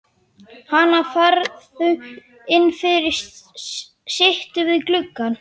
Hana, farðu inn fyrir, sittu við gluggann.